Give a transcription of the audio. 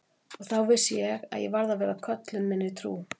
Og þá vissi ég að ég varð að vera köllun minni trú.